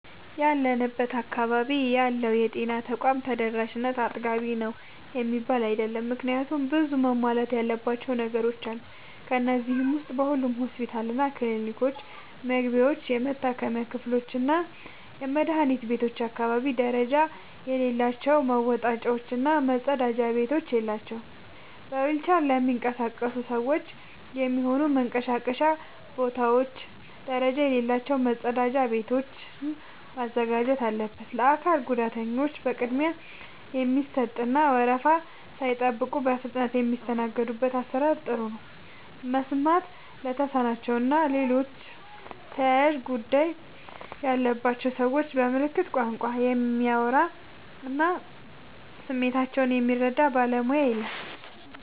ያለንበት አካባቢ ያለው የጤና ተቋም ተደራሽነት አጥጋቢ ነው የሚባል አይደለም። ምክንያቱም ብዙ መሟላት ያለባቸው ነገሮች አሉ። ከነዚህ ዉስጥ በሁሉም ሆስፒታሎችና ክሊኒኮች መግቢያዎች፣ የመታከሚያ ክፍሎችና የመድኃኒት ቤቶች አካባቢ ደረጃ የሌላቸው መወጣጫዎች እና መጸዳጃ ቤቶች የላቸውም። በዊልቸር ለሚንቀሳቀሱ ሰዎች የሚሆኑ መንቀሳቀሻ ቦታዎች ደረጃ የሌላቸው መጸዳጃ ቤቶችን ማዘጋጀት አለበት። ለአካል ጉዳተኞች ቅድሚያ የሚሰጥ እና ወረፋ ሳይጠብቁ በፍጥነት የሚስተናገዱበት አሰራር ጥሩ ነው። መስማት ለተሳናቸው እና ሌሎች ተያያዥ ጉዳት ያለባቸውን ሰዎች በምልክት ቋንቋ የሚያወራ እና ስሜታቸውን የሚረዳ ባለሙያ የለም።